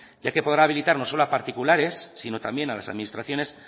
ya que podrá habilitar no solo a particulares sino también a las administraciones